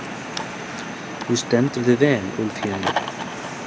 Þú stendur þig vel, Úlfhéðinn!